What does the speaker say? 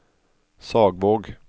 Sagvåg